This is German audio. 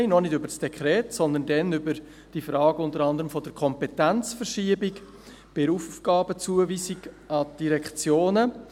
Damals sprachen wir noch nicht über das Dekret, sondern unter anderem über die Frage der Kompetenzverschiebungen bei der Aufgabenzuweisung an die Direktionen.